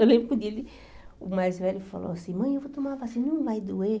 Eu lembro que o mais velho falou assim, mãe, eu vou tomar vacina, não vai doer?